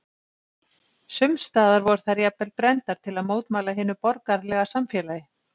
sums staðar voru þær jafnvel brenndar til að mótmæla hinu borgaralega samfélagi